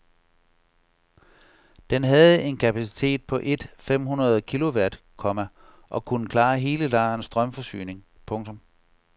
Den havde en kapacitet på et fem hundrede kilowatt, komma og kunne klare hele lejrens strømforsyning. punktum